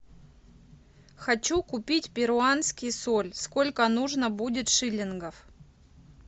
хочу купить перуанский соль сколько нужно будет шиллингов